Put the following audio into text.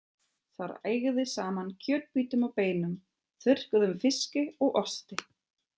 Þar ægði saman kjötbitum og beinum, þurrkuðum fiski og osti.